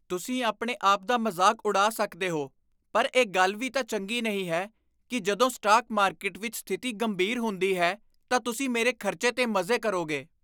ਤੁਸੀਂ ਆਪਣੇ ਆਪ ਦਾ ਮਜ਼ਾਕ ਉਡਾ ਸਕਦੇ ਹੋ ਪਰ ਇਹ ਗੱਲ ਵੀ ਤਾਂ ਚੰਗੀ ਨਹੀਂ ਹੈ ਕਿ ਜਦੋਂ ਸਟਾਕ ਮਾਰਕੀਟ ਵਿੱਚ ਸਥਿਤੀ ਗੰਭੀਰ ਹੁੰਦੀ ਹੈ ਤਾਂ ਤੁਸੀਂ ਮੇਰੇ ਖਰਚੇ 'ਤੇ ਮਜ਼ੇ ਕਰੋਗੇ।